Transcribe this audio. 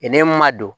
I n'i ma don